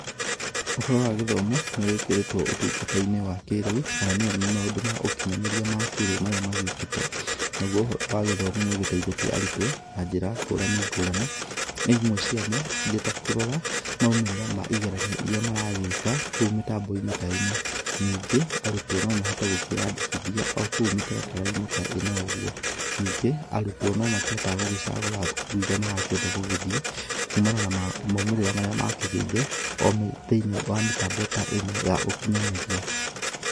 Ũhoro wa gĩthomo nĩ wĩkĩrĩtwo ũtungata-inĩ wa kĩrĩu kana nĩyo maũndũ ma ũkĩnyanĩria wa kĩrĩu marĩa magĩokĩte, nagũo ũhoro wa gĩthomo nĩ ũgĩteithĩtie arutwo na njĩra ngũrani ngũrani, imwe ciamo irĩ ta kũrora maumĩrĩra ma igeranio iria maragĩka kũu mĩtambo-inĩ ta ĩno, ningĩ arutwo no mahote kũiandĩkithia o kũu mĩtaratara-inĩ ta ĩno ũgũo, ningĩ arutwo no makĩhotaga gũgĩcagũra thukuru irĩa marakĩenda gũgĩthiĩ, kumana na maumĩrĩra marĩa akĩgĩire thĩiniĩ wa mĩtambo ta ĩno ya ũkinyanĩria.